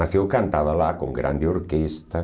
Mas eu cantava lá com grande orquestra.